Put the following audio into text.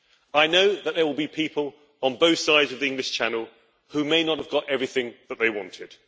I know that there will be people on both sides of the English Channel who may not have got everything that they wanted.